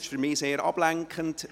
Das ist für mich sehr ablenkend.